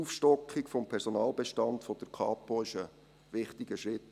Die Aufstockung des Personalbestands der Kapo ist dabei ein wichtiger Schritt.